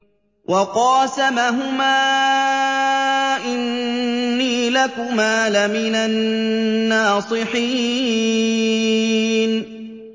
وَقَاسَمَهُمَا إِنِّي لَكُمَا لَمِنَ النَّاصِحِينَ